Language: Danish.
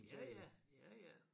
Ja ja ja ja